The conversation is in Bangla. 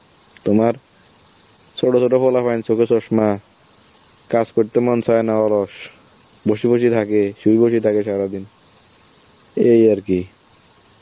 তোমার ছোট ছোট পোলাপাইন চোখে চশমা, কাজ করতে মন চায় না, অলস, বসে বসে থাকে, শুয়ে বসে থাকে সারাদিন, এই আর কি.